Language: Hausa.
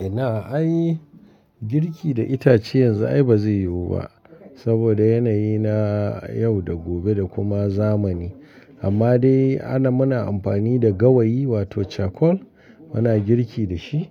Ina ai girki da itace yanzu ai ba zai yiwu ba saboda yanayi na yau da gobe da kuma zamani. Amma dai ana muna amfani da gawayi wato charcoal, muna girki da shi